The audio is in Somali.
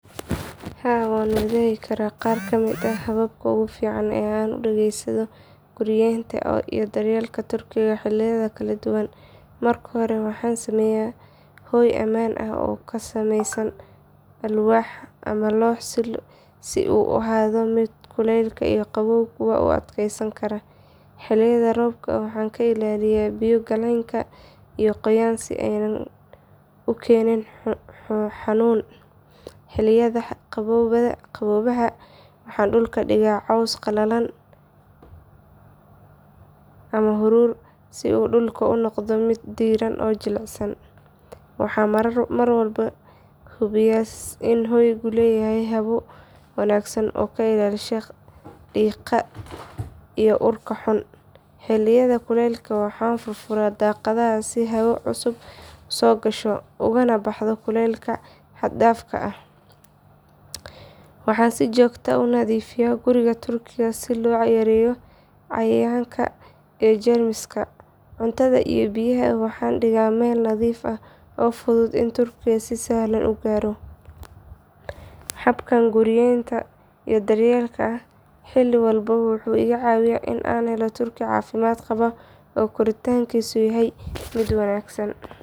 Haa waan wadaagi karaa qaar ka mid ah hababka ugu fiican ee aan u adeegsado guriyenta iyo daryeelka turkiga xilliyada kala duwan. Marka hore waxaan sameeyaa hoy ammaan ah oo ka samaysan alwaax ama loox si uu u ahaado mid kuleyl iyo qabowba u adkeysan kara. Xilliyada roobka waxaan ka ilaaliyaa biyo galeenka iyo qoyaan si aanay u keenin xanuuno. Xilliyada qaboobaha waxaan dhulka dhigaa caws qalalan ama haruur si uu dhulka u noqdo mid diiran oo jilicsan. Waxaan mar walba hubiyaa in hoygu leeyahay hawo wanaagsan oo ka ilaalisa qiiqa iyo urka xun. Xilliyada kuleylka waxaan furfuraa daaqadaha si hawo cusub u soo gasho ugana baxdo kuleylka xad dhaafka ah. Waxaan si joogto ah u nadiifiyaa guriga turkiga si loo yareeyo cayayaanka iyo jeermiska. Cuntada iyo biyaha waxaan dhigaa meel nadiif ah oo u fudud in turkigu si sahlan u gaaro. Habkan guriyenta iyo daryeelka xilli walba wuxuu iga caawiyay in aan helo turki caafimaad qaba oo koritaankiisu yahay mid wanaagsan.